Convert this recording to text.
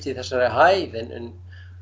í þessari hæð en